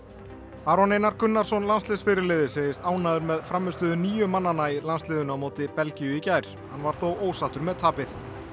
Aron Einar Gunnarsson segist ánægður með frammistöðu nýju manna í landsliðinu á móti Belgíu í gær hann var þó ósáttur með tapið